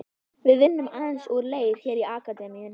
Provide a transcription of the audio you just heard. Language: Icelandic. Við vinnum aðeins úr leir hér í Akademíunni.